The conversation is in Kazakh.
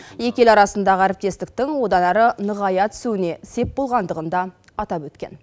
екі ел арасындағы әріптестіктің одан әрі нығая түсуіне сеп болғандығын да атап өткен